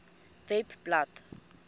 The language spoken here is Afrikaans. webblad